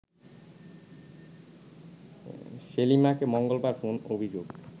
সেলিমাকে মঙ্গলবার কোন অভিযোগে